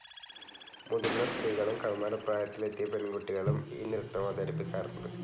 മുതിർന്ന സ്ത്രീകളും കൗമാരപ്രായത്തിലെത്തിയ പെൺകുട്ടികളും ഈ നൃത്തമവതരിപ്പിക്കാറുണ്ട്.